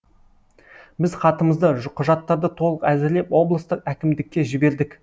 біз хатымызды құжаттарды толық әзірлеп облыстық әкімдікке жібердік